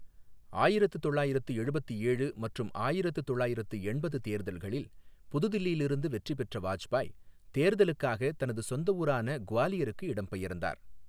ஆயிரத்து தொள்ளாயிரத்து எழுபத்து ஏழு மற்றும் ஆயிரத்து தொள்ளாயிரத்து எண்பது தேர்தல்களில் புதுதில்லியிலிருந்து வெற்றி பெற்ற வாஜ்பாய், தேர்தலுக்காக தனது சொந்த ஊரான குவாலியருக்கு இடம்பெயர்ந்தார்.